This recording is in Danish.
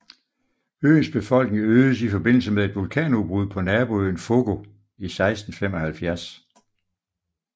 Øens befolkning øgedes i forbindelse med et vulkanudbrud på naboøen Fogo i 1675